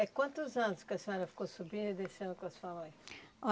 É quantos anos que a senhora ficou subindo e descendo com a sua mãe?